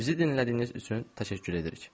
Bizi dinlədiyiniz üçün təşəkkür edirik.